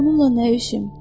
Onunla nə işim?